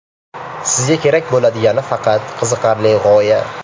Sizga kerak bo‘ladigani – faqat qiziqarli g‘oya.